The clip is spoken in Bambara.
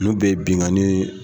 Ninnu bɛɛ ye binnkanni ye